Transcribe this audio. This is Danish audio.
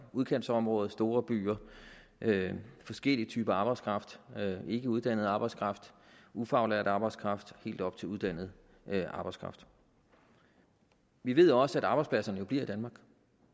udkantsområder store byer forskellige typer arbejdskraft ikkeuddannet arbejdskraft ufaglært arbejdskraft og helt op til uddannet arbejdskraft vi ved også at arbejdspladserne bliver i danmark